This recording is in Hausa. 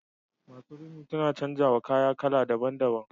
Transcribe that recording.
Masu rini suna canza wa kaya kala daban- daban.